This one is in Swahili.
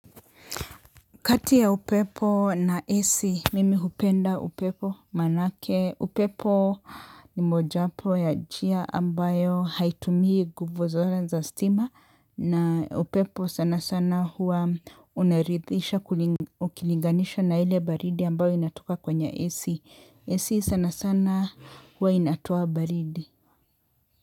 Kati ya upepo na AC mimi hupenda upepo manake upepo ni mojapo ya njia ambayo haitumii nguvu za stima na upepo sana sana hua unarithisha ukilinganisha na ile baridi ambayo inatoka kwenye AC. AC sana sana hua inatoa baridi.